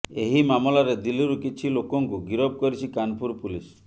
ଏହି ମାମଲାରେ ଦିଲ୍ଲୀରୁ କିଛି ଲୋକଙ୍କୁ ଗିରଫ କରିଛି କାନପୁର ପୁଲିସ